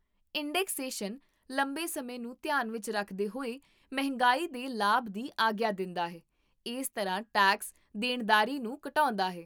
indexation ਲੰਬੇ ਸਮੇਂ ਨੂੰ ਧਿਆਨ ਵਿੱਚ ਰੱਖਦੇ ਹੋਏ ਮਹਿੰਗਾਈ ਦੇ ਲਾਭ ਦੀ ਆਗਿਆ ਦਿੰਦਾ ਹੈ, ਇਸ ਤਰ੍ਹਾਂ ਟੈਕਸ ਦੇਣਦਾਰੀ ਨੂੰ ਘਟਾਉਂਦਾ ਹੈ